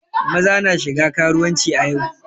Maza na shiga karuwanci a yau.